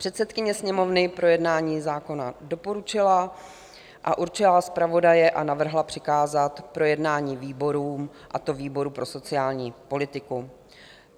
Předsedkyně Sněmovny projednání zákona doporučila a určila zpravodaje a navrhla přikázat projednání výborům, a to výboru pro sociální politiku.